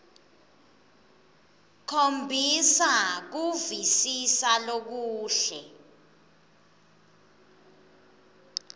khombisa kuvisisa lokuhle